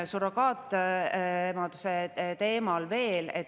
Surrogaatemaduse teemal veel.